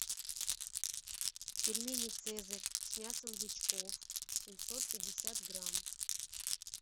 пельмени цезарь с мясом бычков семьсот пятьдесят грамм